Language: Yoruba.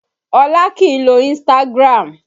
Olá kìí lo Instagram